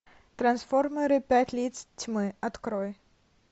трансформеры пять лиц тьмы открой